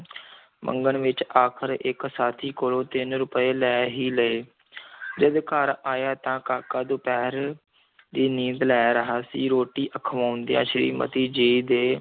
ਮੰਗਣ ਵਿੱਚ, ਆਖ਼ਰ ਇੱਕ ਸਾਥੀ ਕੋਲੋਂ ਤਿੰਨ ਰੁਪਏ ਲੈ ਹੀ ਲਏ ਜਦ ਘਰ ਆਇਆ ਤਾਂ ਕਾਕਾ ਦੁਪਹਿਰ ਦੀ ਨੀਂਦ ਲੈ ਰਿਹਾ ਸੀ, ਰੋਟੀ ਖਵਾਉਂਦਿਆਂ ਸ੍ਰੀਮਤੀ ਜੀ ਦੇ